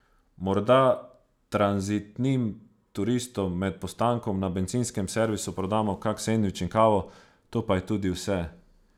Morda tranzitnim turistom med postankom na bencinskem servisu prodamo kak sendvič in kavo, to pa je tudi vse.